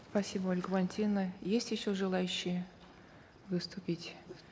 спасибо ольга валентиновна есть еще желающие выступить